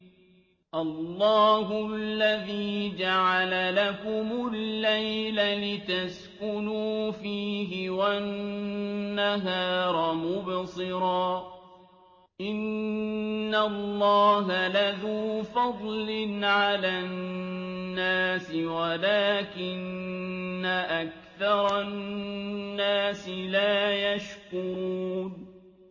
اللَّهُ الَّذِي جَعَلَ لَكُمُ اللَّيْلَ لِتَسْكُنُوا فِيهِ وَالنَّهَارَ مُبْصِرًا ۚ إِنَّ اللَّهَ لَذُو فَضْلٍ عَلَى النَّاسِ وَلَٰكِنَّ أَكْثَرَ النَّاسِ لَا يَشْكُرُونَ